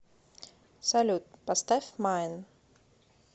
салют поставь майн